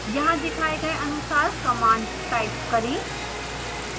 यहाँ दिखाए गए अनुसार command type करें